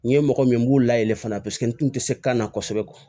N ye mɔgɔ min ye n b'u la yɛlɛ fana paseke n tun tɛ se kan na kosɛbɛ